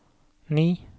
ni